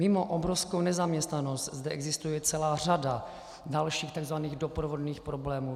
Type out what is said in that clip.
Mimo obrovskou nezaměstnanost zde existuje celá řada dalších tzv. doprovodných problémů.